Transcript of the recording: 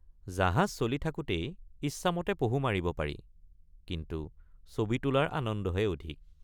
জাহাজ চলি থাকোঁতেই ইচ্ছামতে পহু মাৰিব পাৰি কিন্তু ছবি তোলাৰ আনন্দহে অধিক।